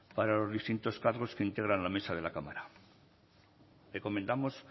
para los distintos cargos que integran la mesa de la cámara recomendamos